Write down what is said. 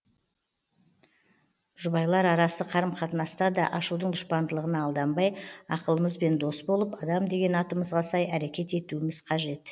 жұбайлар арасы қарым қатынаста да ашудың дұшпандығына алданбай ақылымызбен дос болып адам деген атымызға сай әрекет етуіміз қажет